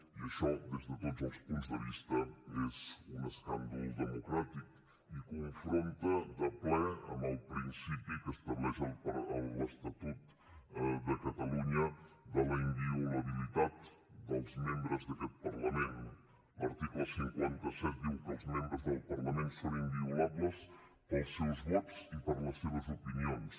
i això des de tots els punts de vista és un escàndol democràtic i confronta de ple amb el principi que estableix l’estatut de catalunya de la inviolabilitat dels membres d’aquest parlament l’article cinquanta set diu que els membres del parlament són inviolables pels seus vots i per les seves opinions